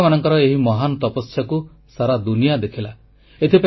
ବୈଜ୍ଞାନିକମାନଙ୍କ ଏହି ମହାନ ତପସ୍ୟାକୁ ସାରା ଦୁନିଆ ଦେଖିଲା